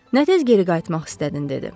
Nə tez geri qayıtmaq istədin, - dedi.